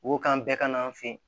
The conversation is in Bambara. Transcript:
Wo kan bɛɛ ka na an fɛ yen